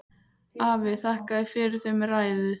Afi þakkaði fyrir þau með ræðu.